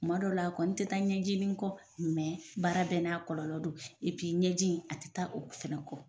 Kuma dɔw la, a kɔni tɛ taa ɲɛji kɔ , mɛ baara bɛɛ n'a kɔlɔlɔ don ɲɛji in a tɛ taa o fanau kɔɔ